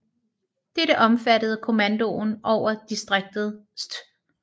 Dette omfattede kommandoen over distriktet St